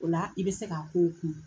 O la i bɛ se k'a kow kun